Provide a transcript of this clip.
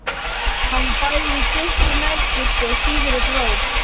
Hann var bæði í þykkri nærskyrtu og síðri brók.